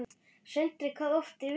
Sindri: Hvað oft í viku?